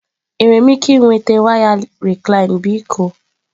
Enwere m ike ịnweta waya Recline biko?